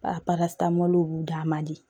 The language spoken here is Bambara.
b'u d'a man di